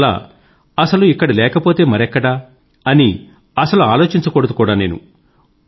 అందువల్ల అసలు ఇక్కడ లేకపోతే మరెక్కడ అని అసలు ఆలోచించకూడదు కూడా నేను